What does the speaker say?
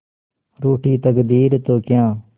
रूठी तकदीरें तो क्या